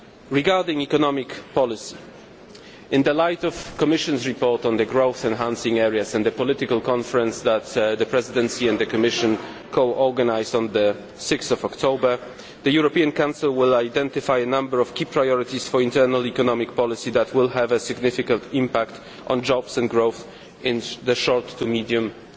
Regarding economic policy, in the light of the Commission's report on the growth enhancing areas and the political conference that the presidency and the Commission co organised on 6 October, the European Council will identify a number of key priorities for internal economic policy that will have a significant impact on jobs and growth in the short to medium term.